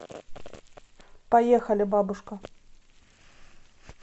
поехали бабушка